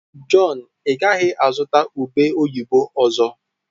Jọn, ị gaghị azụta ube oyibo ọzọ?